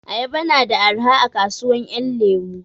Ayaba na da arha a kasuwan 'yan lemu.